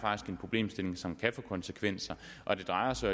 en problemstilling som kan få konsekvenser og det drejer sig